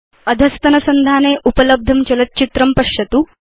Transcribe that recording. अधस्तनसंधाने उपलब्धं चलच्चित्रं पश्यतु